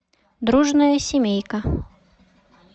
дружная семейка